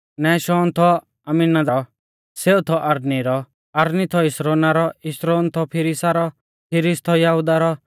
नहशोन थौ अम्मीनादाबा रौ सेऊ थौ अरनी रौ अरनी थौ हिस्रोना रौ हिस्रोन थौ फिरिसा रौ फिरिस थौ यहुदाह रौ